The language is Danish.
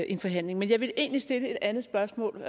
en forhandling men jeg vil egentlig stille et andet spørgsmål